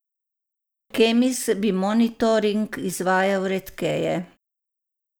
Kemis bi monitoring izvajal redkeje.